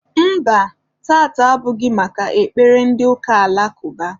Mba, taata abụghị maka ekpere ndị ụka alakụba.